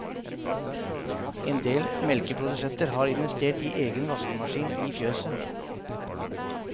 Endel melkeprodusenter har investert i egen vaskemaskin i fjøset.